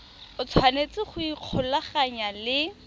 o tshwanetse go ikgolaganya le